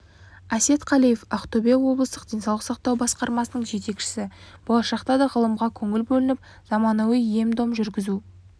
әсет қалиев ақтөбе облыстық денсаулық сақтау басқармасының жетекшісі болашақта да ғылымға көңіл бөлініп заманауи ем-дом жүргізу